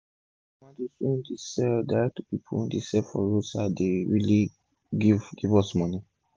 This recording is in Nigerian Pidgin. most of the tomatoes we dey sell direct to pipu wey dey sell for roadside dey really give give us moni